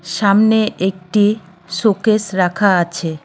সামনে একটি শোকেস রাখা আছে।